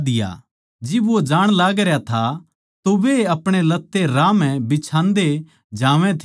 जिब वो जाण लागरया था तो वे अपणे लत्ते राह म्ह बिछान्दे जावै थे